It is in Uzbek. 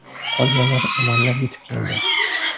Qolganlari amallab yetib keldi.